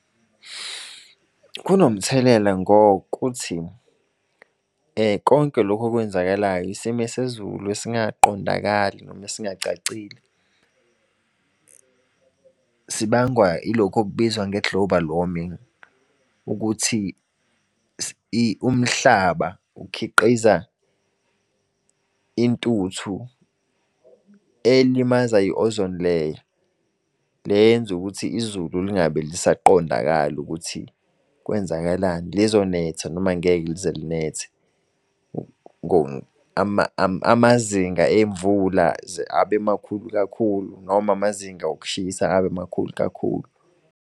Kunomthelela ngokuthi, konke lokhu okwenzakalayo, isimo sezulu esingaqondakali noma engacacile. Sibangwa ilokhu okubizwa nge-global warming, ukuthi umhlaba ukhiqiza intuthu elimaza i-ozone layer. Le yenza ukuthi izulu lingabe lisaqondakali ukuthi kwenzakalani. Lizonetha noma angeke lize linethe, amazinga emvula abe makhulu kakhulu noma amazinga okushisa amakhulu kakhulu.